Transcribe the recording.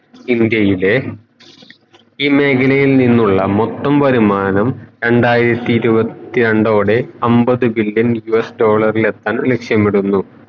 ഈ മേഖലയിൽ നിന്നുള്ള മൊത്തം വരുമാനം രണ്ടായിരത്തി ഇരുവത്തിത്രണ്ടോടെ അമ്പത് billion US ഡോളർ ഏതാണ് ലക്ഷ്യമിടുന്നു